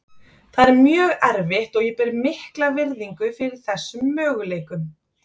Það er mjög erfitt og ég ber mikla virðingu fyrir þessum möguleikum.